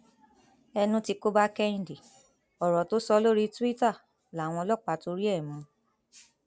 ẹnu tí kò bá kẹhìndé ọrọ tó sọ lórí túìta làwọn ọlọpàá torí ẹ mú un